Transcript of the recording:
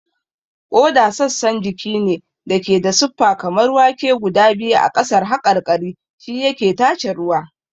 Ƙoda sassan jiki ne da ke da siffa kamar wake guda biyu a ƙasar haƙarƙari, shi yake tace ruwa.